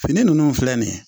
Fini ninnu filɛ nin ye